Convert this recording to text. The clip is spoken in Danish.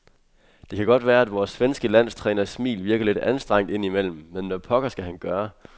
Det kan godt være, at vores svenske landstræners smil virker lidt anstrengt indimellem, men hvad pokker skal han gøre?